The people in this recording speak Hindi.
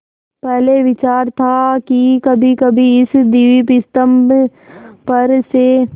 पहले विचार था कि कभीकभी इस दीपस्तंभ पर से